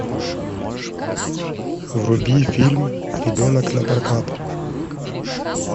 вруби фильм ребенок напрокат